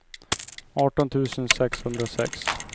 arton tusen sexhundrasex